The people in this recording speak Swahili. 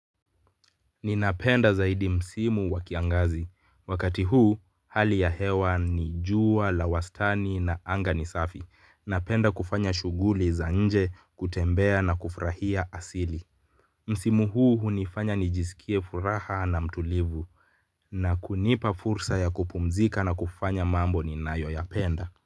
Ninapenda zaidi msimu wa kiangazi. Wakati huu, hali ya hewa ni jua, la wastani na anga ni safi. Napenda kufanya shughuli za nje kutembea na kufurahia asili. Msimu huu hunifanya nijisikie furaha na mtulivu. Na kunipa fursa ya kupumzika na kufanya mambo ninayoyapenda.